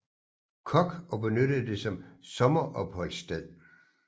Koch og benyttede det som sommeropholdssted